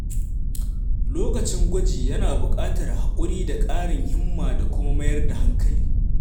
Lokacin gwaji yana buƙatar haƙuri da ƙarin himma da kuma mayar da hankali.